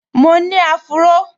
Mo ni áfúró